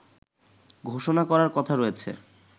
ঘোষণা করার কথা রয়েছে